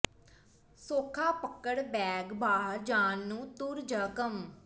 ਸੌਖਾ ਪਕੜ ਬੈਗ ਬਾਹਰ ਜਾਣ ਨੂੰ ਤੁਰ ਜ ਕੰਮ